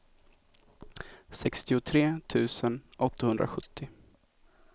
sextiotre tusen åttahundrasjuttio